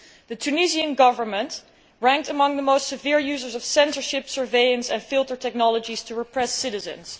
The Tunisian Government ranked among the most severe users of censorship, surveillance and filter technologies to repress citizens.